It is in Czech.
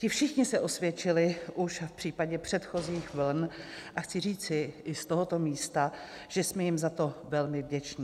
Ti všichni se osvědčili už v případě předchozích vln a chci říci i z tohoto místa, že jsme jim za to velmi vděční.